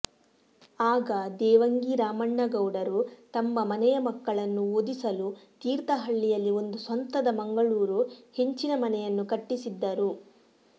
ಆಗ ದೇವಂಗಿ ರಾಮಣ್ಣಗೌಡರು ತಮ್ಮ ಮನೆಯ ಮಕ್ಕಳನ್ನು ಓದಿಸಲು ತೀರ್ಥಹಳ್ಳಿಯಲ್ಲಿ ಒಂದು ಸ್ವಂತದ ಮಂಗಳೂರು ಹೆಂಚಿನ ಮನೆಯನ್ನು ಕಟ್ಟಿಸಿದ್ದರು